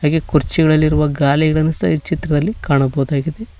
ಹಾಗೆ ಕುರ್ಚಿಗಳಲ್ಲಿರುವ ಗಾಲಿಗಳನ್ನು ಸಹ ಈ ಚಿತ್ರದಲ್ಲಿ ಕಾಣಬಹುದಾಗಿದೆ.